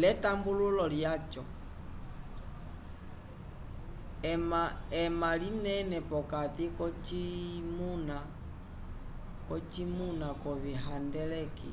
l'etambululo lyaco ema linene p'okati k'ocimuna c'ovihandeleki